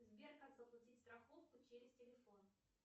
сбер как заплатить страховку через телефон